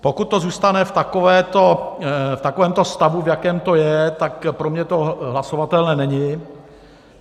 Pokud to zůstane v takovémto stavu, v jakém to je, tak pro mě to hlasovatelné není.